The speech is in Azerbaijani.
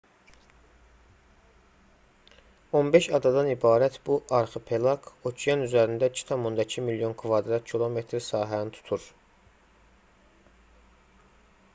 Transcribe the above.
15 adadan ibarət bu arxipelaq okean üzərində 2,2 milyon km2 sahəni tutur